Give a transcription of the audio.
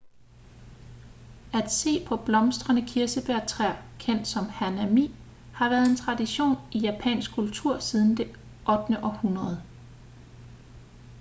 at se på blomstrende kirsebærtræer kendt som hanami har været en tradition i japansk kultur siden det 8. århundrede